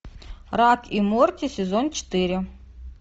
рик и морти сезон четыре